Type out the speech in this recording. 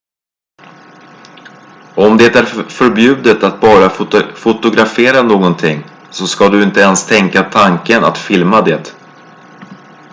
om det är förbjudet att bara fotografera någonting så ska du inte ens tänka tanken att filma det